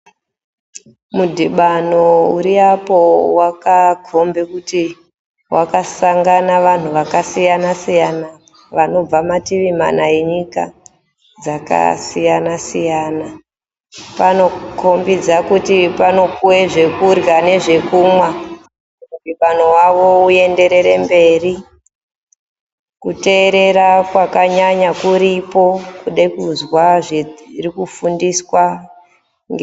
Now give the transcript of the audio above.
Mudhibano uri apo wakakombe kuti wakasangane vanhu vakasiyana-siyana vanobve mativi mana enyika dzakasiyana-siyana. Panokombidza kuti panopiwe zvekurya nezvekumwa kuti mudhibano wavo uenderere mberi. Kuteerera kwakanyanya kuripo kude kuzwa zviri kufundiswa.